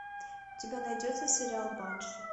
у тебя найдется сериал банши